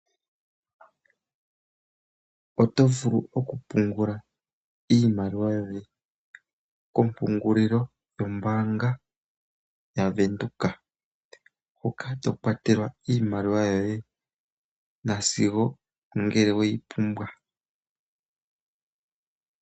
Oto vulu oku pungula iimaliwa yoye kopungulilo yombaanga ya Venduka wu kale to kwatelwa iimaliwa yoye na sigo ngele oweyi pumbwa.